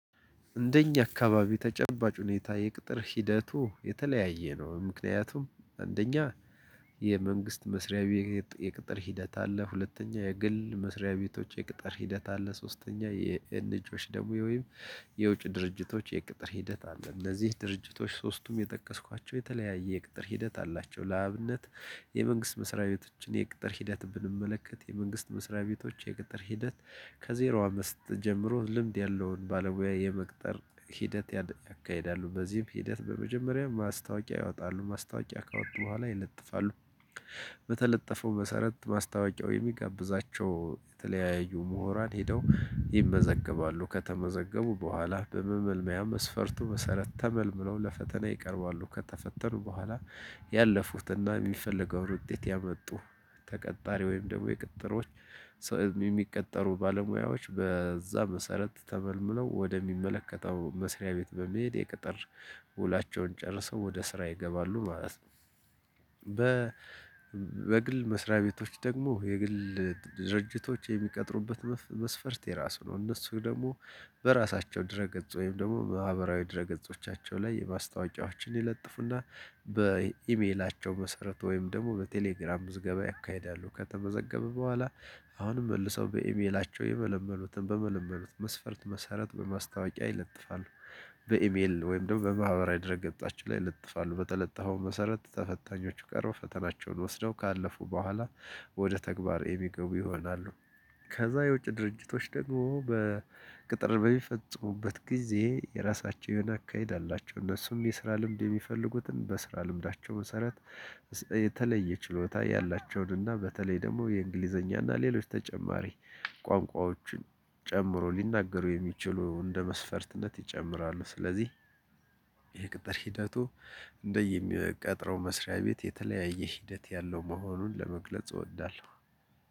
እንደኛ አካባቢ ተጨባጭ ሁኔታ የቅጥር ሂደቱ የተለያየ ነው ምክንያቱም አንደኛ የመንግስት መስሪያ ቤት የቅጥር ሂደት አለ ሁለተኛ የግል መስሪያ ቤቶች የቅጥር ሂደት አለ ሶስተኛ የኤንጅኦዎች ደግሞ ወይም የውጭ ድርጅቶች የቅጥር ሂደት አለ እነዚህ ድርጅቶች ሶስቱም የጠቀስኳቸው የተለያየ የቅጥር ሂደት አላቸው። ለአብነት የመንግስት መስሪያ ቤቶችን የቅጥር ሂደት ብንመለከት የመንግስት መስሪያ ቤቶች የቅጥር ሂደት ከዜሮ አምስት ጀምሮ ልምድ ያለውን ባለሙያ የመቅጠር ሂደት ያደያካሂዳሉ በዚህም ሂደት በመጀመሪያ ማስታወቂያ ያወጣሉ ማስታወቂያ ካወጡ በኋላ ይለጥፋሉ። በተለጠፈው መሰረት ማስታወቂያው የሚጋብዛቸው የተለያየ ምሁራን ሄደው ይመዘገባሉ ከተመዘገቡ በኋላ በመመልመያ መስፈርቱ መሰረት ተመልምለው ለፈተና ይቀርባሉ ከተፈተኑ በኋላ ያለፉትና የሚፈልገውን ውጤት ያመጡ ተቀጣሪ ወይም ደግሞ የቅጥሮች ሰ የሚቀጠሩ ባለሙያዎች በዛ መሰረት ተመልምለው ወደሚመለከተው መስሪያ ቤት በመሄድ የቅጥር ውላቸውን ጨርሰው ወደ ስራ ይገባሉ ማለት ነው። በ በግል መስሪያ ቤቶች ደግሞ የግል ድርጅቶች የሚቀጥሩበት መስፈርት የራሱ ነው። እነሱ ደግሞ በራሳቸው ድረ ገጽ ወይም ደግሞ ማህበራዊ ድረ ገጾቻቸው ላይ የማስታወቂያዎችን ይለጥፉና በኢሜላቸው መሰረት ወይም ደግሞ በቴሌግራም ምዝገባ ያካሂዳሉ። ከተመዘገበ በኋላ አሁንም መልሰው በኢሜላቸው የመለመሉትን በመለመሉት መስፈርት መሰረት በማስታወቂያ ይለጥፋሉ። በኢሜል ወይም ደግሞ በማህበራዊ ድረ ገጻቸው ላይ ይለጥፋሉ በተለጠፈው መሰረት ተፈታኞቹ ቀርበው ፈተናቸውን ወስደው ካለፉ በኋላ ወደ ተግባር የሚገቡ ይሆናሉ። ከዛ የውጭ ድርጅቶች ደግሞ በቅጥር በሚፈጽሙበት ጊዜ የራሳቸውን የሆነ አካሄድ አላቸው እነሱም የስራ ልምድ የሚፈልጉትን በስራ ልምዳቸው መሰረት የተለየ ችሎታ ያላቸውን እና በተለይ ደግሞ የእንግሊዝኛ እና ሌሎች ተጨማሪ ቋንቋዎችን ጨምሮ ሊናገሩ የሚችሉ እንደ መስፈርትነት ይጨምራሉ። ስለዚህ የቅጥር ሂደቱ እንደየሚቀጥረው መስሪያ ቤት የተለያየ ሂደት ያለው መሆኑን ለመግለጽ እወዳለሁ።